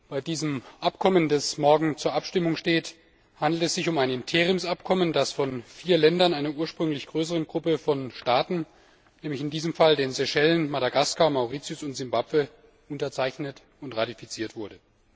Bei diesem Abkommen, das morgen zur Abstimmung steht, handelt es sich um ein Interimsabkommen, das von vier Ländern, einer ursprünglich größeren Gruppe von Staaten, nämlich in diesem Fall den Seychellen, Madagaskar, Mauritius und Simbabwe, unterzeichnet und ratifiziert wurde.